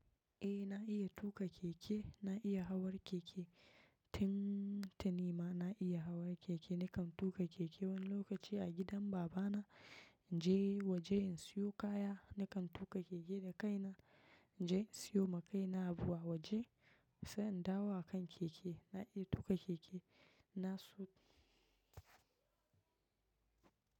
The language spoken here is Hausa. Eh na iya tuƙa keke, na iya hawar keke. Tin, tinima na iya hawa keke. Nakan tuƙa keke wani lokaci a gidan babana. In je waje in siyo kaya, nakan tuƙa keke da kaina. In je in siyo ma kaina abu a waje. Sai in dawo a kan keke. Na iya tuƙa keke. Na su--